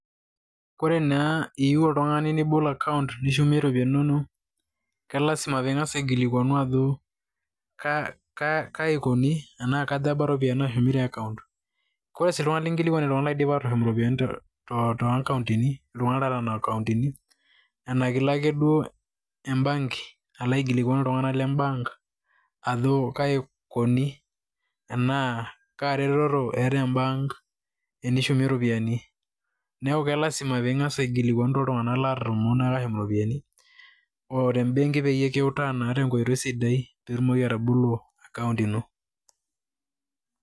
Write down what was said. Kore naa iyiu oltung'ani nibol akaunt nishumie ropiani inonok ke lazima ping'as aigilikuanu ajo kai ikuni anaa katha eba ropiani naashumi te akaunt. Kore sii iltung'anak linkilikuan naa iltung'anak laidipa atushum iropiani to akauntini, iltung'anak loota nena akauntini anake ilo akeduo embanki alo aikilikuan iltung'anak le mbank ajo kai ikuni enaa kaa retoto eeta embank enishumie ropiani. Neeku ke lazima piing'as aikilikuanu toltung'anak latomoo naa atushum ropiani o te mbenki peyie kiutaa naa tenkoitoi sidai piitumoki atobolo akaunt ino.